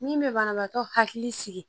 Min bɛ banabaatɔ hakili sigi